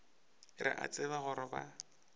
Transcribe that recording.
re a tseba gore ba